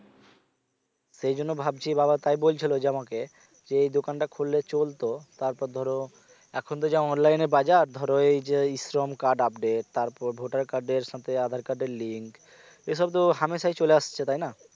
সেই জন্য ভাবছি বাবা তাই বলছিল যে আমাকে যে এই দোকানটা খুললে চলত তারপর ধরো এখন তো যা online এ বাজার ধরো এই যে এই শ্রম card update তারপর voter card এর সাথে আধার card এর link এ সব তো হামেশাই চলে আসছে তাই না